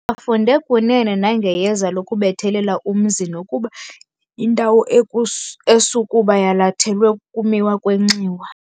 Bafunde kunene nangeyeza lokubethelela umzi nokuba yindawo esukuba yalathelwe ukumiwa kwenxiwa.